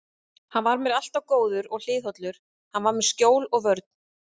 Þetta væri líka besta skýringin, sem unnt væri að gefa dönskum yfirvöldum á aflýsingu leiðangursins.